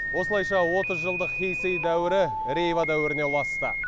осылайша отыз жылдық хейсей дәуірі рейва дәуіріне ұласты